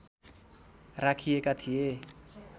राखिएका थिए